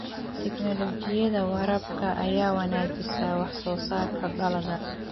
Tignoolajiyada waraabka ayaa wanaajisa wax soo saarka dalagga.